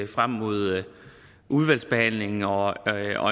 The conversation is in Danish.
frem mod udvalgsbehandlingen og